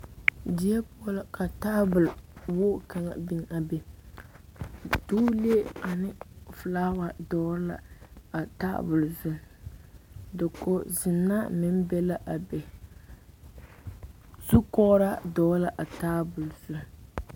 Die poɔ la ka tabol wogi kaŋ biŋ a be duulee ane filaawa dɔgle la a tabol zu dakogzenaa meŋ be la a be zukɔgraa dɔgle la a tabol zu.